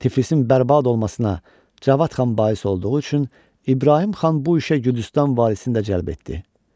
Tiflisin bərbad olmasına Cavad xan bais olduğu üçün İbrahim xan bu işə Gürcüstan valisini də cəlb etdi.